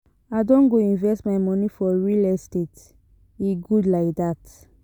I don go invest my moni for real estate, e good lai dat.